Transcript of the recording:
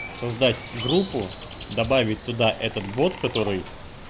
создать группу добавить туда этот бот который